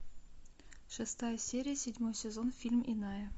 шестая серия седьмой сезон фильм иная